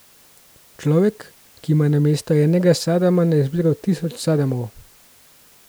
Človek, ki ima namesto enega Sadama na izbiro tisoč Sadamov.